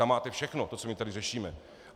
Tam máte všechno to, co my tady řešíme.